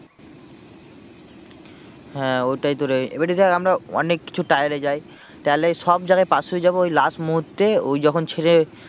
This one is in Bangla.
হ্যাঁ ওটাই তো রে এবারে দেখ আমরা অনেক কিছু trial এ যাই trial সব জায়গায় pass হয়ে যাবো ওই last মুহূর্তে ওই যখন ছেলে